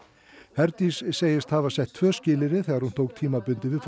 Herdís segist hafa sett tvö skilyrði þegar hún tók tímabundið við